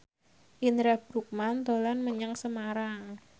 Indra Bruggman dolan menyang Semarang